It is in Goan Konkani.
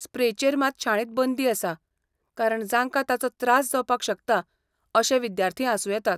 स्प्रेचेर मात शाळेंत बंदी आसा कारण जांकां ताचो त्रास जावपाक शकता अशे विद्यार्थी आसूं येतात .